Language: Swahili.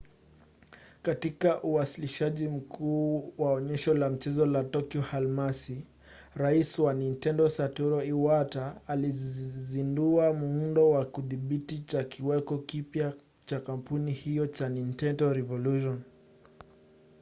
katika uwasilishaji mkuu wa onyesho la mchezo la tokyo alhamisi rais wa nintendo satoru iwata alizindua muundo wa kidhibiti cha kiweko kipya cha kampuni hiyo cha nintendo revolution